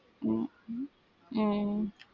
உம் உம் உம்